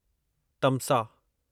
तमसा